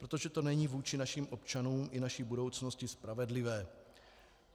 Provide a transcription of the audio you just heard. Protože to není vůči našim občanům i naší budoucnosti spravedlivé.